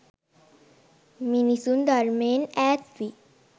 මිනිසුන් ධර්මයෙන් ඈත්වී